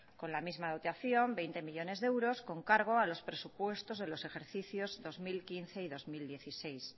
con la misma dotación veinte millónes de euros con cargo a los presupuestos de los ejercicios dos mil quince y dos mil dieciséis